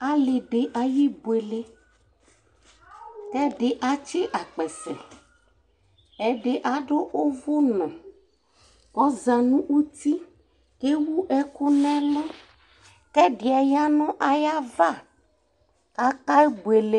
ali di ayi ibuele ko ɛdi atsi akpɛsɛ ɛdi ado òvò no ɔza no uti ko ewu ɛku n'ɛlu k'ɛdiɛ ya no ayava k'ake buele